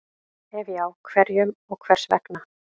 Ef já, hverjum og hvers vegna?